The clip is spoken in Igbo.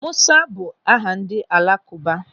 Musa bụ aha ndị alakụba.